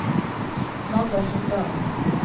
Magda Sundal